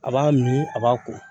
A b'a mi a b'a ko